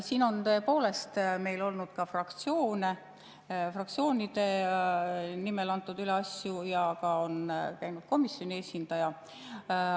Siin on tõepoolest meil olnud ka fraktsioone, fraktsioonide nimel antud üle asju, ja on käinud ka komisjoni esindaja.